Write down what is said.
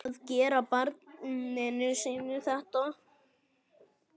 Að gera barninu sínu þetta!